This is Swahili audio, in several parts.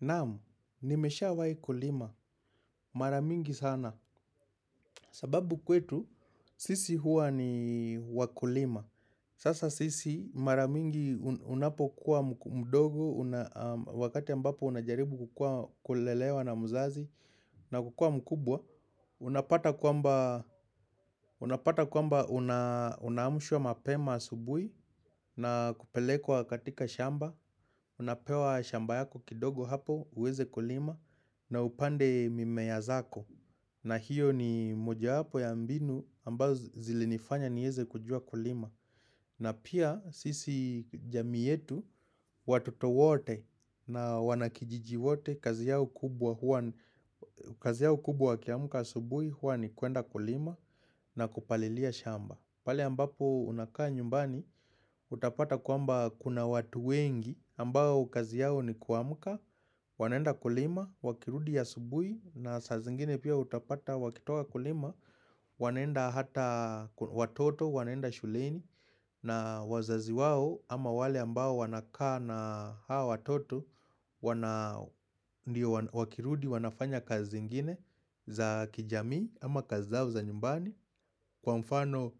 Naam, nimesha wai kulima, maramingi sana. Sababu kwetu, sisi hua ni wakulima. Sasa sisi, maramingi unapo kuwa mdogo. Wakati ambapo unajaribu kukua kulelewa na mzazi. Na kukua mkubwa Unapata kwamba unaamshwa mapema asubui. Na kupelekwa katika shamba. Unapewa shamba yako kidogo hapo, uweze kulima. Na upande mimeyazako na hiyo ni moja hapo ya mbinu ambazo zilinifanya nieze kujua kulima. Na pia sisi jami yetu watoto wote na wanakijiji wote kazi yao kubwa hua ni. Kubwa akimka asubui hua ni kuenda kulima na kupalilia shamba pale ambapo unakaa nyumbani utapata kuamba kuna watu wengi ambao kazi yao ni kuamuka. Wanaenda kulima, wakirudi asubui na saa zingine pia utapata wakitoka kulima. Wanaenda hata watoto, wanaenda shuleni na wazazi wao ama wale ambao wanakaa na haa watoto wana, ndio wakirudi, wanafanya kazi zingine za kijamii ama kazi zao za nyumbani kwa mfano.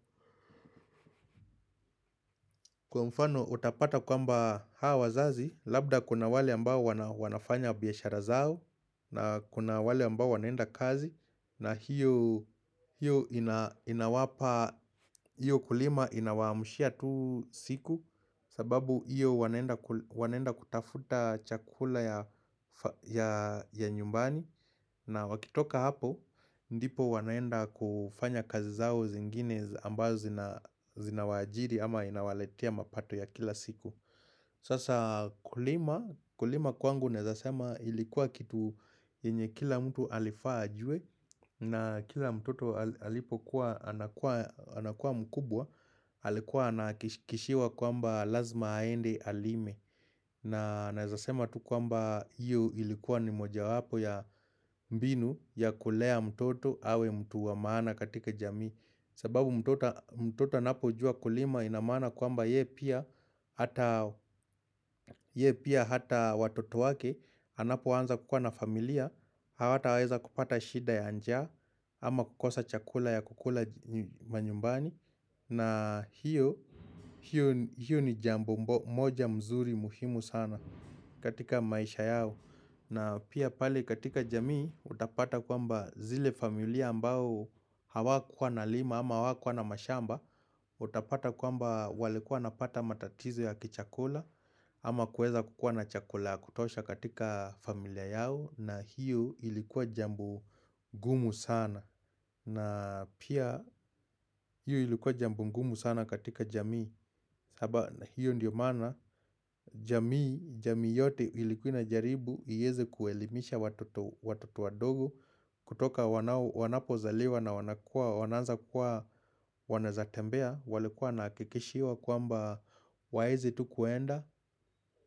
Kwa mfano utapata kwa mba hawa wazazi Labda kuna wale ambao wanafanya biyashara zao na kuna wale ambao wanaenda kazi na hio. Hiyo kulima inawamushia tu siku sababu hiyo wanaenda kutafuta chakula ya nyumbani. Na wakitoka hapo, ndipo wanaenda kufanya kazi zao zingine ambazo zina wajiri ama inawaletia mapato ya kila siku. Sasa kulima kwangu nezasema ilikuwa kitu yenye kila mtu alifaa ajue na kila mtoto alipo kuwa anakua mkubwa. Alikuwa anakishikishiwa kwamba lazima aende alime na nezasema tu kwamba iyoilikuwa ni moja wapo ya mbinu ya kulea mtoto awe mtu wa maana katika jamii sababu mtoto. Mtota anapo jua kulima inamana kwamba yee pia hata watoto wake anapo wanza kukua na familia Hawata waeza kupata shida ya anjaa ama kukosa chakula ya kukula manyumbani. Na hiyo ni jambo moja mzuri muhimu sana katika maisha yao. Na pia pali katika jamii utapata kwamba zile familia ambao hawakua na lima ama hawakua na mashamba. Utapata kwamba walikua napata matatizo ya kichakula ama kueza kukua na chakula kutosha katika familia yao na hiyo ilikuwa jambo. Gumu sana na pia hiyo ilikuwa jambo gumu sana katika jamii. Aba hiyo ndiyo maana jamii yote ilikuina jaribu iyeze kuelimisha watoto wadogo. Kutoka wanapo zaliwa na wananza kuwa wanazatembea wali kuwa nakikishiwa kwamba waeze tu kuenda.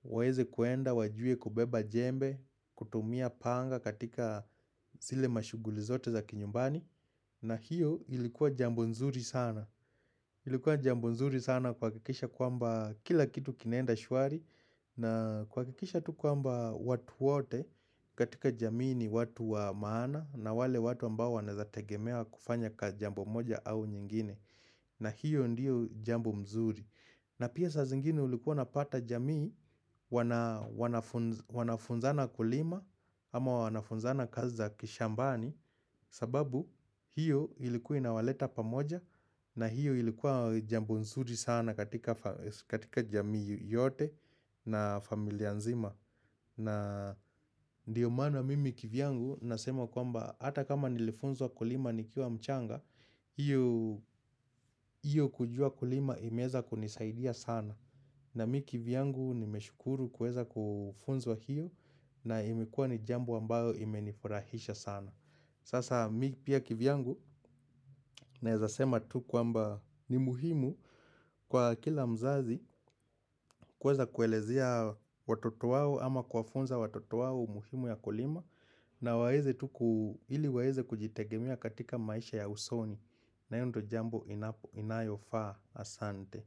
Waeze kuenda, wajue kubeba jembe, kutumia panga katika zile mashuguli zote za kinyumbani. Na hiyo ilikuwa jambonzuri sana. Ilikuwa jambo nzuri sana kuha kikisha kwamba kila kitu kinaenda shuari na kwa kikisha tu kwamba watu wote katika jamii ni watu wa maana na wale watu ambao wanazategemewa kufanya ka jambu moja au nyingine na hiyo ndiyo jambo mzuri. Na pia sa zingine ulikuwa napata jamii. Wanafunzana kulima ama wanafunzana kazi kishambani sababu hiyo ilikuwa inawaleta pamoja na hiyo ilikuwa jambo nzuri sana katika jamii yote na familia nzima. Na diyo mana mimi kivyangu nasema kwamba hata kama nilifunzwa kulima nikiwa mchanga, iyo kujua kulima imeeza kunisaidia sana. Na mimi kivyangu nimeshukuru kuweza kufunzwa hiyo na imekua nijambo ambayo imenifurahisha sana. Sasa mimi pia kivyangu. Naezasema tu kwamba ni muhimu kwa kila mzazi kweza kuelezea watoto wawo ama kwa funza watoto wawo muhimu ya kulima. Na waeze tuku ili waeze kujitegemia katika maisha ya usoni. Na yondo jambo inayo faa asante.